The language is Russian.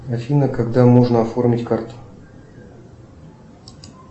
афина когда можно оформить карту